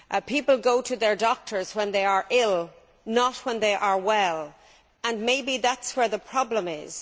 People go to their doctors when they are ill, not when they are well, and maybe that is where the problem is.